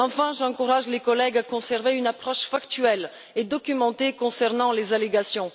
Enfin, j'encourage les collègues à maintenir une approche factuelle et documentée concernant les allégations.